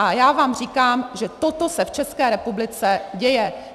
A já vám říkám, že toto se v České republice děje.